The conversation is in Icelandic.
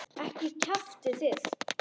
Ekki kjaftið þið.